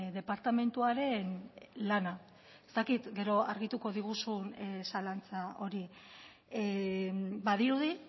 departamentuaren lana ez dakit gero argituko diguzun zalantza hori badirudi